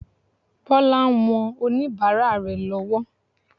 Bọlá ń wọn oníbàárà rẹ̀ lọ́wọ́.